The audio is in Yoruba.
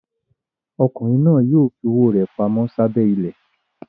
Ọkùnrin náà yóò fi owó rẹ̀ pamọ́ sábẹ́ ilẹ̀.